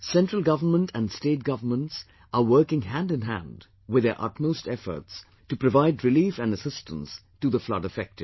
Central government and State Governments are working hand in hand with their utmost efforts to provide relief and assistance to the floodaffected